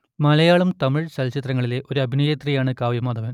മലയാളം തമിഴ് ചലച്ചിത്രങ്ങളിലെ ഒരു അഭിനേത്രിയാണ് കാവ്യ മാധവൻ